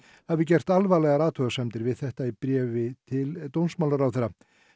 hafi gert alvarlegar athugasemdir við þetta í bréf til dómsmálaráðherra